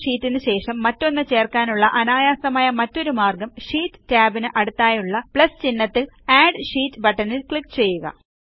നിലവിലുള്ള ഷീറ്റിനു ശേഷം മറ്റൊന്ന് ചേർക്കാനുള്ള അനായാസമായ മറ്റൊരു മാർഗ്ഗം ഷീറ്റ് ടാബിന് അടുത്തായുള്ള പ്ലസ് ചിഹ്നത്തിലുള്ള അഡ് ഷീറ്റ് ബട്ടണിൽ ക്ലിക്ക് ചെയ്യുക